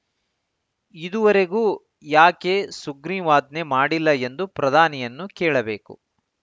ಇದುವರೆಗೂ ಯಾಕೆ ಸುಗ್ರೀವಾಜ್ಞೆ ಮಾಡಿಲ್ಲ ಎಂದು ಪ್ರಧಾನಿಯನ್ನು ಕೇಳಬೇಕು